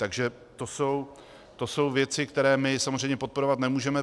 Takže to jsou věci, které my samozřejmě podporovat nemůžeme.